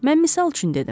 Mən misal üçün dedim.